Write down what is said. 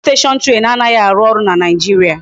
Otutu station train anaghi aru oru na naijiria